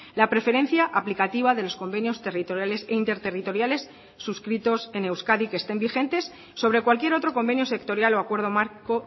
la preferencia aplicativa de los convenios territoriales e interterritoriales suscritos en euskadi que estén vigentes sobre cualquier otro convenio sectorial o acuerdo marco